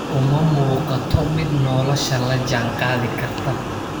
Uma muuqato mid nolosha la jaan qaadi karta.